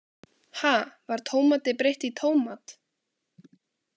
Ha, var tómati breytt í tómat?